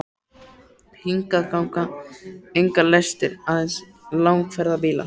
Hingað ganga engar lestir, aðeins langferðabílar.